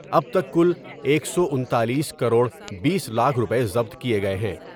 اب تک کل ایک سو انتالیس کروڑ بیس لاکھ روپے ضبط کئے گئے ہیں ۔